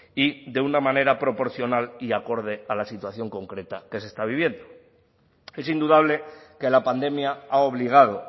y de una manera proporcional y acorde a la situación concreta que se está viviendo es indudable que la pandemia ha obligado